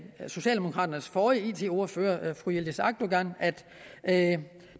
socialdemokraternes forrige it ordfører fru yildiz akdogan at at